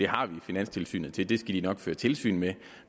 har vi finanstilsynet til det de skal nok føre tilsyn med det